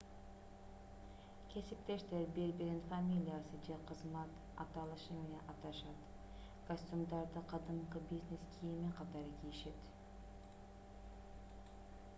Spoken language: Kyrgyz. кесиптештер бири-бирин фамилиясы же кызмат аталышы менен аташат костюмдарды кадимки бизнес кийими катары кийишет